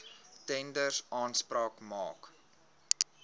tenders aanspraak maak